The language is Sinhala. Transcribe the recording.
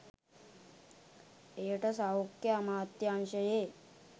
එයට සෞඛ්‍ය අමාත්‍යාංශයේ